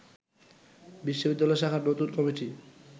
বিশ্ববিদ্যালয় শাখার নতুন কমিটি